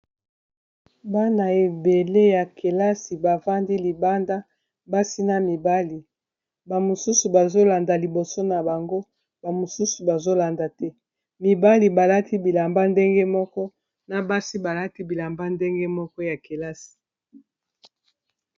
bana ebele ya kelasi bafandi libanda basi na mibali bamosusu bazolanda liboso na bango bamosusu bazolanda te mibali balati bilamba ndenge moko na basi balati bilamba ndenge moko ya kelasi